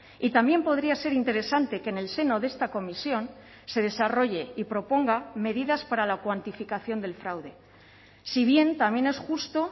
y también podría ser interesante que en el seno de esta comisión se desarrolle y proponga medidas para la cuantificación del fraude si bien también es justo